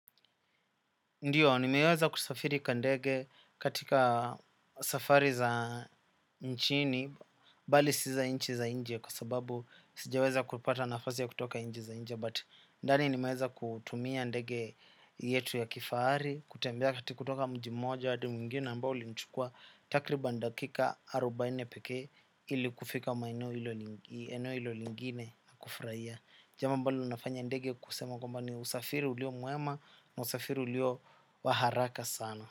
Ndio, nimeweza kusafiri kwa ndege. Katika safari za nchini, bali si za nchi za nje kwa sababu sijaweza kupata nafasi ya kutoka nchi za nje, but ndani nimeweza kutumia ndege yetu ya kifahari, kutembea kutoka mji mmoja, hadi mwingine ambao ulinichukua takribani dakika arobaini pekee ili kufika maeneo hilo lingine na kufurahia. Jambo linafanya ndege kusema kwamba ni usafiri ulio mwema na usafiri ulio wa haraka sana.